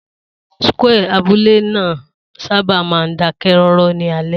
Square abúlé náà sábà máa ń dákẹ́ rọ́rọ́ ní alẹ́.